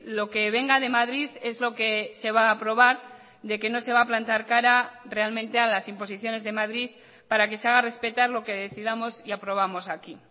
lo que venga de madrid es lo que se va a aprobar de que no se va a plantar cara realmente a las imposiciones de madrid para que se haga respetar lo que decidamos y aprobamos aquí